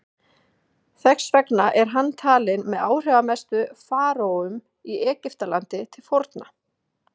Þess vegna er hann talinn með áhrifamestu faraóum í Egyptalandi til forna.